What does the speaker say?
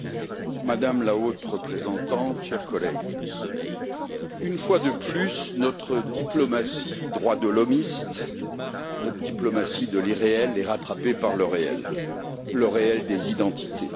Madame la Présidente, Madame la Haute représentante, chers collègues, une fois de plus, notre diplomatie droits de l'hommiste, notre diplomatie de l'irréel, est rattrapée par le réel, le réel des identités.